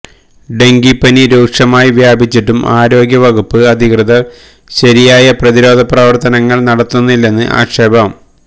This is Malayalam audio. ഡെങ്കിപ്പനി രൂക്ഷമായി വ്യാപിച്ചിട്ടും ആരോഗ്യവകുപ്പ് അധികൃതര് ശരിയായ പ്രതിരോധപ്രവര്ത്തനങ്ങള് നടത്തുന്നില്ലെന്ന് ആക്ഷേപം